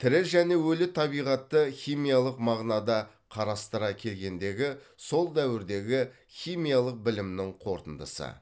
тірі және өлі табиғатты химиялық мағынада қарастыра келгендегі сол дәуірдегі химиялық білімнің қорытындысы